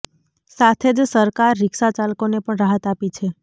સાથે જ સરકાર રિક્ષા ચાલકોને પણ રાહત આપી છે